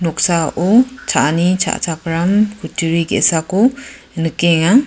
noksao cha·ani cha·chakram kutturi ge·sako nikenga.